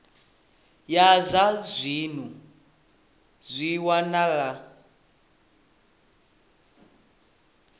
ya zwa dzinnu zwi wanala